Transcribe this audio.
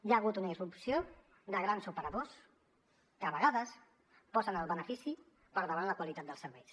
hi ha hagut una irrupció de grans operadors que a vegades posen el benefici per davant la qualitat dels serveis